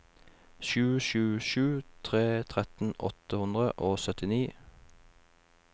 sju sju sju tre tretten åtte hundre og syttini